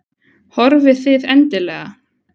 Horfið þið endilega?